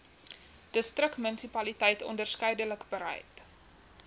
distriksmunisipaliteit onderskeidelik bereid